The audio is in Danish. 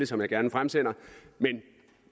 som jeg gerne fremsender men